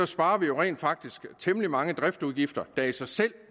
sparer vi jo rent faktisk temmelig mange driftsudgifter der i sig selv